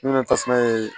Ne nana tasuma ye